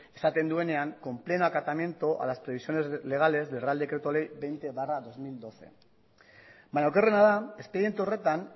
esaten duenean con pleno acatamiento a las previsiones legales del real decreto ley hogei barra bi mila hamabi baina okerrena da espediente horretan